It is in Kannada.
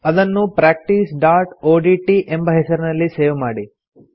ಅದನ್ನು practiceಒಡಿಟಿ ಎಂಬ ಹೆಸರಿನಲ್ಲಿ ಸೇವ್ ಮಾಡಿ